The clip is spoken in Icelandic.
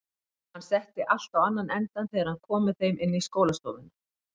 Hann setti allt á annan endann þegar hann kom með þeim inn í skólastofuna.